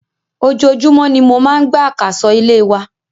Ojojúmó ni mo máà ń gbá àkàsọ̀ ilé wa.